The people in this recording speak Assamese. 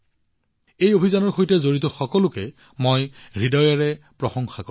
মই এই অভিযানৰ সৈতে জড়িত সকলোকে হৃদয়েৰে প্ৰশংসা কৰিছো